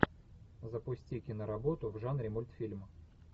запусти киноработу в жанре мультфильм